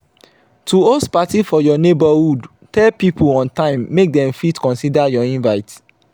to host parti for your neighborhood tell pipo on time make dem fit consider your invite